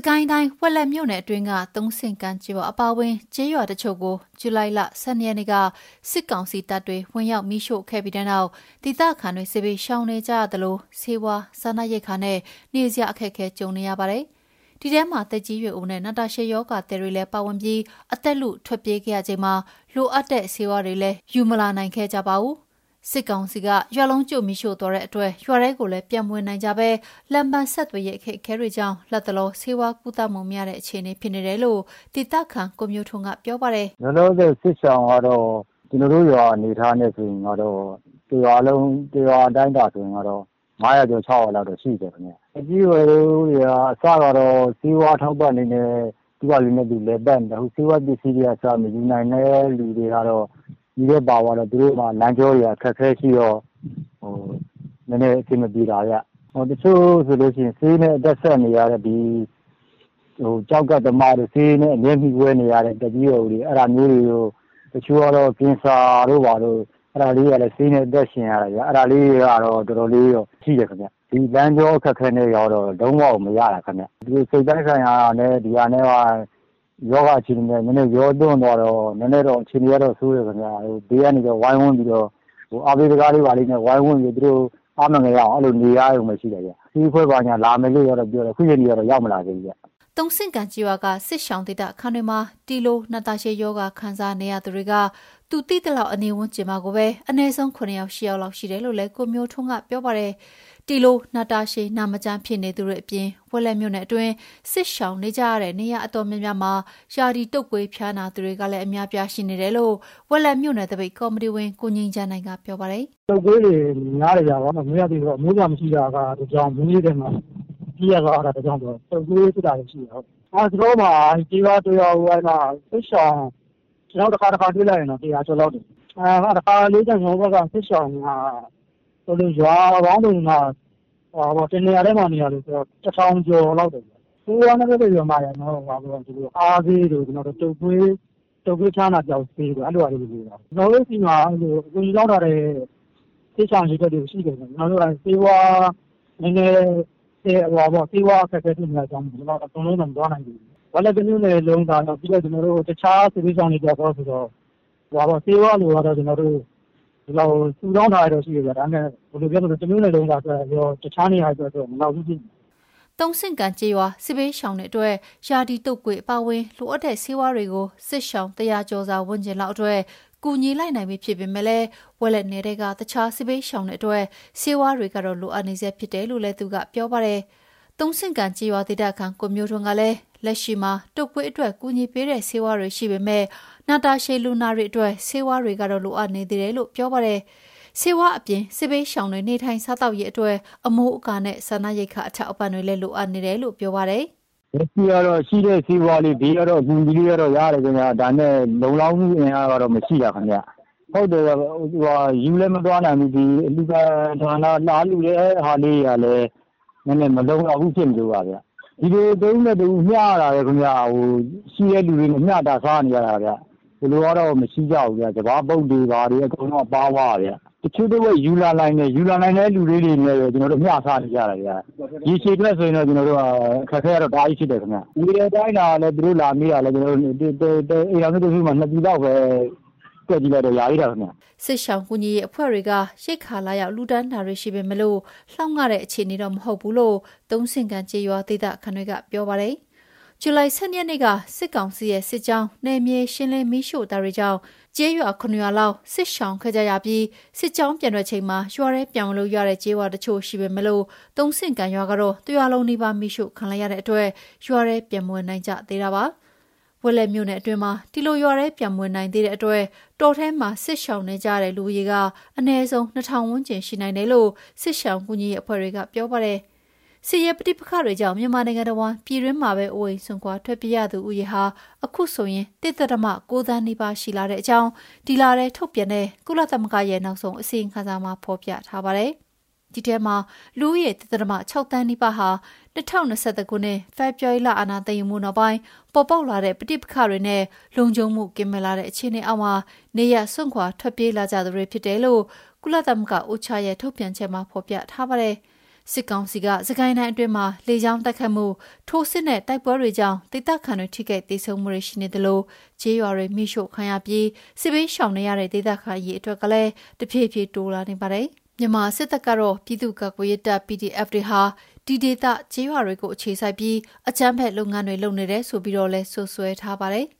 ကိုင်းတိုင်း၊ ဝက်လက်မြို့နယ်အတွင်းက သုံးဆင့်ကန်ကျေးရွာအပါအဝင် ကျေးရွာတချို့ကို ဇူလိုင် ၁၂ ရက်နေ့က စစ်ကောင်စီတပ်တွေ ဝင်ရောက် မီးရှို့ခဲ့ပြီးတဲ့နောက် ဒေသခံတွေ စစ်ဘေးရှောင်နေကြရသလို ဆေးဝါး၊ စားနပ်ရိက္ခာနဲ့ နေစရာ အခက်အခဲတွေ ကြုံနေကြရတာပါ။ ဒီအထဲမှာ သက်ကြီးရွယ်အိုနဲ့ နာတာရှည်ရောဂါသည်တွေလည်းပါဝင်ပြီး အသက်လု ထွက်ပြေးခဲ့ရချိန်မှာ လိုအပ်တဲ့ ဆေးဝါးတွေလည်း ယူမလာနိုင်ခဲ့ကြပါဘူး။ စစ်ကောင်စီက ရွာလုံးကျွတ် မီးရှို့သွားတဲ့ အတွက် ရွာထဲကိုလည်း ပြန်မဝင်နိုင်ကြ သလို လမ်းပန်းဆက်သွယ်ရေး အခက်အခဲတွေကြောင့် လတ်တလော ဆေးဝါးကုသမှု မရတဲ့အခြေအနေ ဖြစ်နေတယ်လို့ ဒေသခံ ကိုမျိုးထွန်းက ပြောပြပါတယ်။ "သက်ကြီးရွယ်အိုတွေက အစကတော့ သူတို့ ဆေးဝါး အထောက်ပံ့လေးနဲ့ သူ့ဟာသူ လည်ပတ်နေတာပေါ့။ ခုကျတော့ ဆေးဝါးပစ္စည်းကအစ မယူနိုင်တဲ့ခါကျတော့ မီးထဲပါသွားတဲ့ခါကျတော့ သူတို့မှာ လမ်းပန်း ဆက်သွယ်ရေးကလည်း အခက်အခဲရှိတော့ အဆင်မပြေတာဗျ။ နောက်တချို့ဆိုရင် ဆေးနဲ့ အသက်ဆက် နေရတဲ့ ဒီကျောက်ကပ်သမားတို့ ဆေးနဲ့ အမြဲမှီဝဲနေရတဲ့ သက်ကြီးရွယ်အိုတွေ ဒီတချို့ကကျတော့ ကင်ဆာတို့ ဘာတို့ ဆေးနဲ့ အသက်ရှင်တဲ့သူတွေပေါ့။ အဲ့ဒါမျိုးတွေတော့ တော်တော်လေးတော့ ရှိတယ် ခင်ဗျ။ ဒီလမ်းကြော အခက်အခဲတွေနဲ့ ကျတော့ လုံးဝကို မရတာဗျ။ ဒီစိတ်ပိုင်းဆိုင်ရာ တွေနဲ့ ဒီရောဂါအခြေအနေတွေနဲ့က နည်းနည်း ရောပြွန်းသွားတော့ နည်းနည်းတော့ အခြေအနေကတော့ ဆိုးတယ်ဗျ။ ဘေးကနေ ဝိုင်းဝန်းပြီးတော့ အားပေးစကားလေးဘာလေးနဲ့ ဝိုင်းဝန်းပြီး အားမငယ်ရအောင် အဲ့လိုနေရရုံပဲ ရှိတယ်ဗျ။ ဆေးအဖွဲ့ဘာညာက လာမယ်လို့တော့ ပြောတယ်။ ဒီနေ့ထိတော့ ရောက်မလာ သေးဘူးဗျ။" သုံးဆင့်ကန်ကျေးရွာက စစ်ရှောင်ဒေသခံတွေထဲမှာ ဒီလို နာတာရှည်ရောဂါ ခံစားနေရသူတွေက သူသိသလောက် အနီးဝန်းကျင်မှာကိုပဲ အနည်းဆုံး ၇ ယောက် ၈ ယောက်လောက် ရှိတယ်လို့လည်း ကိုမျိုးထွန်းက ပြောပါတယ်။ ဒီလို နာတာရှည်နာမကျန်းဖြစ်နေသူတွေအပြင် ဝက်လက်မြို့နယ်အတွင်း စစ်ရှောင်နေကြရတဲ့ နေရာအ တော်များများမှာ ရာသီတုပ်ကွေး ဖျားနာသူတွေကလည်း အများအပြားရှိနေတယ်လို့ ဝက်လက်မြို့နယ် သပိတ်ကော်မတီဝင် ကိုငြိမ်းချမ်းနိုင်က ပြောပါတယ်။ "တုတ်ကွေးတွေက များတယ်ဗျ။ ဘာလို့ဆို မိုးရာသီဖြစ်တာက တကြောင်း၊ မိုးရေထဲမှာ ပြေးရလွှားရ တာက တကြောင်းဆိုတော့ တုပ်ကွေး ဖြစ်ကြတာတွေ ရှိတယ်။ အဲ့မှာ ကျေးရွာတရွာကို တခါတခါ ကျွန်တော်တို့ တွေ့လိုက်ရင်တော့ ၁၀၀ ကျော်လောက် ရှိတယ်။ ကျွန်တော်တို့ ဘက်က စစ်ရှောင်တွေက ရွာပေါင်းစုံတွေက တနေရာတည်းမှာ စုနေတာမျိုး ရှိတတ်တော့ ၁,၀၀၀ ကျော်လောက် ရှိတဲ့ နေရာရှိ တယ်ဗျ။ ဆေးဝါးနဲ့ ပတ်သက်ရင် အားဆေးတို့ တုပ်ကွေး ဖျားနာပျောက်ဆေးတို့ အဲ့ဒါမျိုးတွေ လိုနေတာပေါ့။ ကျွန်တော်တို့ ဆီမှာ အကူအညီတောင်းထားကြတဲ့ စစ်ရှောင်အရေအတွက် တွေကတော့ ရှိတယ်ဗျ။ နည်းနည်း ဆေးဝါးအခက်အခဲ ဖြစ်နေတာကြောင့်မို့လို့ ကျွန်တော်တို့ ခုတော့ မသွားနိုင်ကြသေးဘူး။ ဝက်လက် တမြို့နယ်လုံးစာကော၊ တခြားစစ်ဘေးရှောင်တွေ အတွက်ရော ဆိုတော့ ဆေးဝါး လိုအပ်တာကတော့ ရှိတယ်ဗျ။ ဒါပေမဲ့ တမြို့နယ်လုံးစာ ဆိုတော့ တခြားနေရာတွေအတွက်တော့ မလောက်သေးဘူးဗျ။" သုံးဆင့်ကန်ကျေးရွာက စစ်ဘေးရှောင်တွေအတွက် ရာသီတုပ်ကွေး အပါအဝင် လိုအပ်နေတဲ့ ဆေးဝါးတွေ ကိုစစ်ရှောင် ၁၀၀ ကျော်စာ ဝန်းကျင်လောက်အတွက် ကူညီလိုက်နိုင်ပြီဖြစ်ပေမဲ့ ဝက်လက်နယ်ထဲက တခြားစစ်ဘေးရှောင်တွေအတွက် ဆေးဝါးတွေကတော့ လိုအပ်နေဆဲ ဖြစ်တယ်လို့လည်း သူက ပြောပါတယ်။ သုံးဆင့်ကန်ကျေးရွာဒေသခံ ကိုမျိုးထွန်းကလည်း လက်ရှိမှာ တုပ်ကွေးအတွက် ကူညီပေးတဲ့ ဆေးဝါးတွေ ရှိပေမဲ့ နာတာရှည်လူနာတွေ အတွက် ဆေးဝါးတွေကတော့ လိုအပ်နေသေးတယ်လို့ ပြောပါတယ်။ ဆေးဝါးအပြင် စစ်ဘေးရှောင်တွေ နေထိုင် စားသောက်ရေးအတွက် အမိုးအကာနဲ့ စားနပ်ရိက္ခာ အထောက်အပံ့တွေလည်း လိုအပ်နေတယ်လို့ ပြောပါတယ်။ "လက်ရှိ ဆေးဝါးကတော့ ရှိတာလေးနဲ့ပေါ့။ ဘေးကတော့ အကူအညီလေးတွေတော့ ရတယ်ဗျ။ ဒါပေမဲ့ လုံလောက်မှု အင်အားကတော့ မရှိတာခင်ဗျ။ ယူလည်း မလာနိုင်ကြဘူး။ လာလှုတဲ့ဟာတွေကလည်း နည်းနည်းမလုံလောက်ဘူး ဖြစ်နေလို့ပါဗျ။ ဒီလို တဦးနဲ့ တဦး မျှရတာပဲဗျ။ ရှိတဲ့သူတွေ တဦးနဲ့ တဦး မျှစားကြရတာပဲဗျ။ ဒီလိုကတော့ မရှိကြဘူး။ စပါးပုပ်တွေ ဘာတွေ အကုန်လုံးက ပါသွားကြတာဗျ။ တချို့တဝက် ယူလာနိုင်ကြတယ်၊။ ယူလာနိုင်တဲ့သူတွေနဲ့ပဲ မျှစားနေကြရ တယ်ဗျ။ ရေရှည်အတွက်ဆိုရင်တော့ အခက်အခဲက တအားဖြစ်တယ်ဗျ။ လာပေးလှူကြတာကလည်း တအိမ်ထောင်စုကို ၂ ပြည်လောက်ပဲ လာပေးနိုင်ကြတာကိုးဗျ။" စစ်ရှောင်ကူညီရေး အဖွဲ့တွေကရိက္ခာ လာရောက် လှူဒါန်းတာတွေ ရှိပေမဲ့ လောက်ငှတဲ့ အခြေအနေတော့ မဟုတ်ဘူးလို သုံးဆင့်ကန်ကျေးရွာ ဒေသခံတွေက ပြောပါတယ်။ ဇူလိုင် ၁၂ ရက်နေ့က စစ်ကောင်စီရဲ့ စစ်ကြောင်း နယ်မြေရှင်းလင်း မီးရှို့တာတွေကြောင့် ကျေးရွာ ၇ ရွာလောက် စစ်ရှောင်ခဲ့ကြရပြီးစစ်ကြောင်း ပြန်ထွက်ချိန်မှာ ရွာထဲ ပြန်ဝင်လို့ရတဲ့ ကျေးရွာတွေ ရှိပေမဲ့ သုံးဆင့်ကန် ရွာကတော့ တရွာလုံးနီးပါး မီးရှို့ခံလိုက် ရတာကြောင့် ရွာထဲ ပြန်ဝင်မနေနိုင်ကြသေးတာ ဖြစ်ပါတယ်။ ဝက်လက်မြို့နယ်အတွင်းမှာ ဒီလို ရွာထဲ ပြန်မဝင်နိုင်သေးလို့ တောထဲမှာစစ်ရှောင်နေကြရတဲ့ လူဦးရေက အနည်းဆုံး ၂,၀၀၀ ဝန်းကျင်ရှိနိုင်တယ်လို့ စစ်ရှောင်ကူညီရေးအဖွဲ့တွေက ပြောပါတယ်။ စစ်ရေး ပဋိပက္ခတွေကြောင့် မြန်မာနိုင်ငံတဝန်း ပြည်တွင်းမှာပဲ အိုးအိမ်စွန့်ခွာ ထွက်ပြေးရသူဦးရေဟာ အခုဆိုရင် ၁ ဒဿမ ၉ သန်းနီးပါးအထိ ရှိလာတဲ့အကြောင်း ဒီလထဲ ထုတ်ပြန်တဲ့ ကုလသမဂ္ဂရဲ့ နောက်ဆုံးအစီရင်ခံစာမှာဖော်ပြထားပါတယ်။ ဒီအထဲမှာ လူဦးရေ ၁ ဒဿမ ၆ သန်း နီးပါးဟာ ၂၀၂၁ ခုနှစ် ဖေဖော်ဝါရီလ အာဏာသိမ်းယူမှုနောက်ပိုင်း ပေါ်ပေါက်လာတဲ့ ပဋိပက္ခတွေနဲ့ လုံခြုံမှုကင်းမဲ့လာတဲ့ အခြေအနေအောက်မှာ နေရပ်စွန့်ခွာ ထွက်ပေးလာကြသူတွေ ဖြစ်တယ်လို့ ကုလသမဂ္ဂ UNOCHA ရဲ့ ထုတ်ပြန်ချက်မှာ ဖော်ပြထားပါတယ်။ စစ်ကောင်စီက စစ်ကိုင်းတိုင်းအတွင်းမှာ လေကြောင်းတိုက်ခိုက်မှု၊ ထိုးစစ်နဲ့ တိုက်ပွဲတွေကြောင့် ဒေသခံတွေ ထိခိုက်သေဆုံးမှုတွေ ရှိနေသလို ကျေးရွာတွေ မီးရှို့ခံရပြီး စစ်ဘေးရှောင်နေကြရတဲ့ ဒေသခံအရေအတွက်ကလည်း တဖြည်းဖြည်းပိုပြီးတိုးလာနေပါတယ်။ မြန်မာစစ်တပ်ကတော့ ပြည်သူ့ကာကွယ်ရေးတပ် PDF တွေဟာ ဒီဒေသ ကျေးရွာတွကို အခြေစိုက်ပြီး အကြမ်းဖက် လုပ်ငန်းတွေ လုပ်နေတယ် ဆိုပြီးတော့လည်း စွပ်စွဲထားပါတယ်